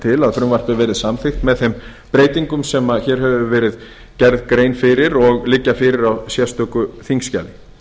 til að frumvarpið verði samþykkt með þeim breytingum sem hér hefur verið gerð grein fyrir og liggja fyrir á sérstöku þingskjali